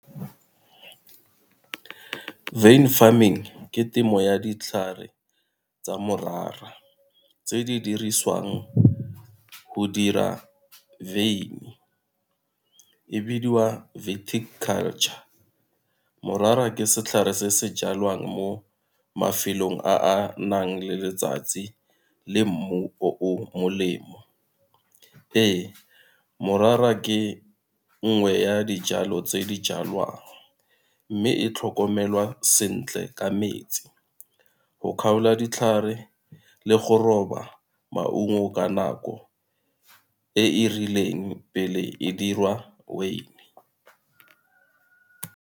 Wyn farming ke temo ya ditlhare tsa morara tse di dirisiwang go dira e bidiwa culture. Morara ke setlhare se se jalwang mo mafelong a a nang le letsatsi le mmu o molemo. Ee morara ke nngwe ya dijalo tse di jalwang, mme e tlhokomelwa sentle ka metsi go kgaola ditlhare le go roba maungo ka nako e e rileng pele e dirwa weini.